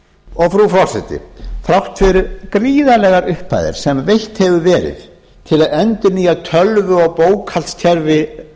frú forseti þrátt fyrir gríðarlegar upphæðir sem veittar hafa verið til að endurnýja tölvu og bókhaldskerfi